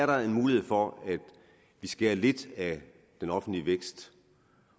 der er en mulighed for at skære lidt af den offentlige vækst